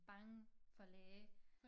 Bange for læge